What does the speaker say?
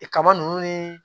E kaba ninnu ni